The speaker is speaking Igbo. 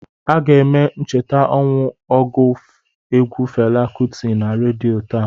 Aga eme ncheta ọnwụ ọgụ egwu Fela Kuti na redio taa